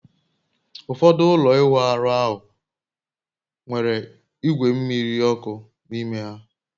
Ụfọdụ ụlọ ịwụ ahụ nwere igwe mmiri ọkụ n'ime ha